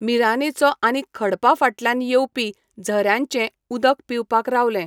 मीरानेचो आनी खडपा फाटल्यान येवपी झऱ्याचें उदकपिवपाक रावलें.